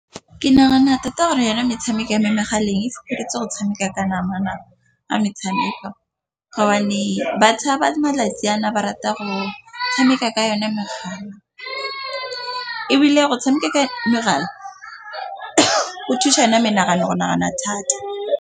Ke nagana tota gore yone metshameko ya mo megaleng e fokoditse go tshameka ka nama nako ya metshameko, gobane bašwa ba malatsi ana ba rata go tshameka ka yone megala, ebile go tshameka ka megala o thusa menagano go nagana thata.